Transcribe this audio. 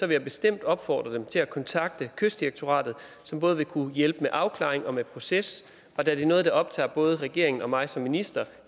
jeg bestemt opfordre dem til at kontakte kystdirektoratet som både vil kunne hjælpe med afklaring og med proces og da det er noget der optager både regeringen og mig som minister